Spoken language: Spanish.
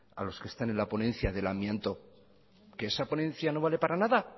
a los que estén en la ponencia del amianto que esa ponencia no vale para nada